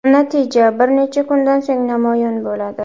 Natija bir necha kundan so‘ng namoyon bo‘ladi.